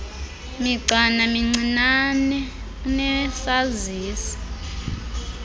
migcana mincinane unesazisi